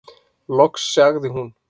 Loks sagði hún: